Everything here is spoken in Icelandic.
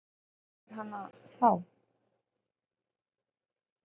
Og hver fær hana þá?